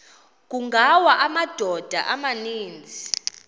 kungawa amadoda amaninzi